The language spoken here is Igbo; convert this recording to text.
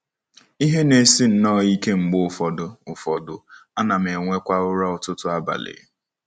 Ihe na-esi nnọọ ike mgbe ụfọdụ, ụfọdụ, ana m enwekwa ụra ọtụtụ abalị.